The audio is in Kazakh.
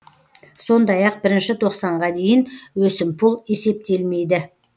сондай ақ бірінші тоқсанға дейін өсімпұл есептелмейді